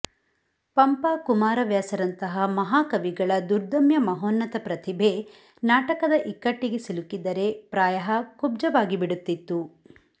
ಪಂಪ ಕುಮಾರವ್ಯಾಸರಂತಹ ಮಹಾಕವಿಗಳ ದುರ್ದಮ್ಯ ಮಹೋನ್ನತ ಪ್ರತಿಭೆ ನಾಟಕದ ಇಕ್ಕಟ್ಟಿಗೆ ಸಿಲುಕಿದ್ದರೆ ಪ್ರಾಯಃ ಕುಬ್ಜವಾಗಿಬಿಡುತ್ತಿತ್ತು